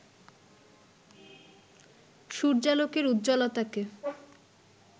সূর্যালোকের উজ্জ্বলতাকে